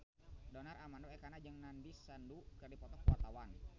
Donar Armando Ekana jeung Nandish Sandhu keur dipoto ku wartawan